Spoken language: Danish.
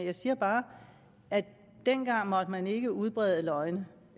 jeg siger bare at dengang måtte man ikke udbrede løgne